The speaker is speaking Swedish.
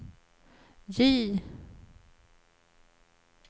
J